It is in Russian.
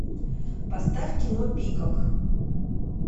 поставь кино пикок